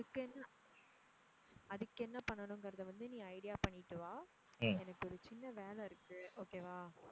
அதுக்கு என்ன அதுக்கு என்ன பண்ணணுங்குறத வந்து நீ idea பண்ணிட்டு வா எனக்கு ஒரு சின்ன வேலை இருக்கு okay வா?